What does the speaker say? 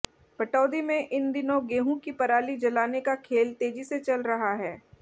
पटौदी में इन दिनों गेहूं की पराली जलाने का खेल तेजी से चल रहा है